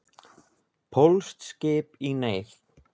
Pólskt skip í neyð